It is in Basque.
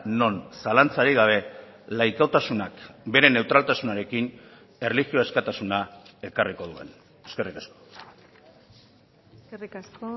non zalantzarik gabe laikotasunak bere neutraltasunarekin erlijio askatasuna ekarriko duen eskerrik asko eskerrik asko